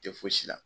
Tɛ fosi la